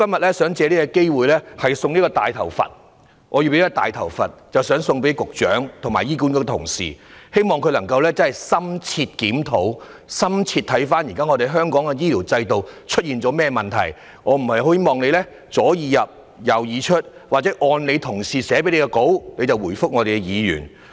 我想藉着今天這個機會，把我手上這個"大頭佛"送給局長和醫管局的員工，希望他們能深入檢討香港目前的醫療制度出了甚麼問題，而不是"左耳入，右耳出"，或只按其同事草擬的發言稿來回答議員的提問。